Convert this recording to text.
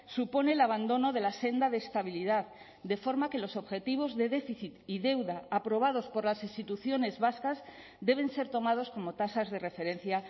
supone el abandono de la senda de estabilidad de forma que los objetivos de déficit y deuda aprobados por las instituciones vascas deben ser tomados como tasas de referencia